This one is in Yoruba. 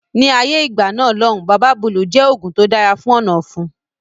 Ni ayé ìgbà náà lòun Baba Búlù jẹ oògùn tó dára fún ọ̀nà ọ̀fun